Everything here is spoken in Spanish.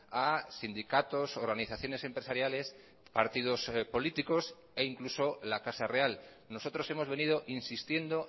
a sindicatos organizaciones empresariales partidos políticos e incluso la casa real nosotros hemos venido insistiendo